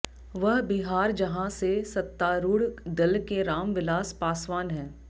वह बिहार जहां से सत्तारूढ़ दल के राम विलास पासवान हैं